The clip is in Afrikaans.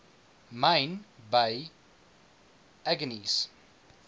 myn by aggeneys